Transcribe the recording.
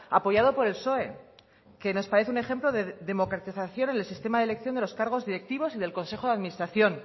apoyado por el psoe que nos parece un ejemplo de democratización en el sistema de elección de los cargos directivos y del consejo de administración